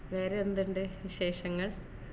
വേറെ എന്തുണ്ട് വിശേഷങ്ങൾ